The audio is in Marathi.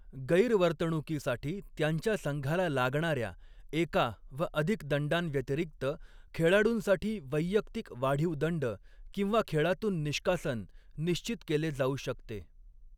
गैरवर्तणुकीसाठी त्यांच्या संघाला लागणाऱ्या एका व अधिक दंडांव्यतिरिक्त, खेळाडूंसाठी वैयक्तिक वाढीव दंड किंवा खेळातून निष्कासन निश्चित केले जाऊ शकते.